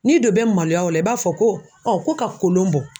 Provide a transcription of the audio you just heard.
N'i don bɛ maloya o la i b'a fɔ ko ko ka kolon bɔ.